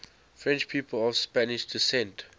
french people of spanish descent